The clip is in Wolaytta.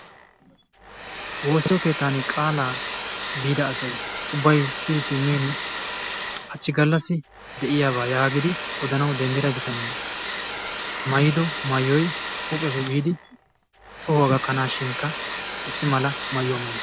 Woossiyo keettan qaalaa biida asay ubbay siyi simmini, hachchi gallassi de'iyabaa yaagidi odanawu denddida bitanee maayido maayoy huuphiyappe biidi tohuwa gakkanaashin issi mala maayuwa maayiis.